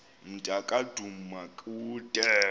mnta ka dumakude